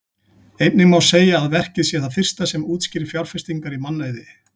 Einnig má segja að verkið sé það fyrsta sem útskýrir fjárfestingar í mannauði.